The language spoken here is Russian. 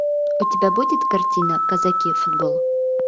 у тебя будет картина казаки футбол